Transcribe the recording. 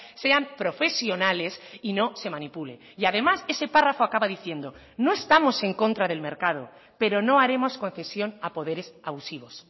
sean profesionales y no se manipule y además ese párrafo acaba diciendo no estamos en contra del mercado pero no haremos concesión a poderes abusivos